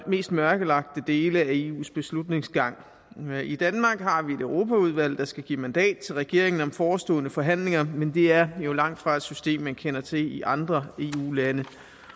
mest mørkelagte dele af eus beslutningsgang i danmark har vi et europaudvalg der skal give mandat til regeringen om forestående forhandlinger men det er jo langtfra et system man kender til i andre eu lande